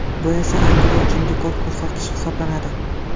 Bu esa Angliya uchun rekord ko‘rsatkich hisoblanadi.